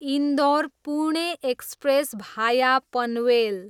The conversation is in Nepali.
इन्दौर, पुणे एक्सप्रेस भाया पनवेल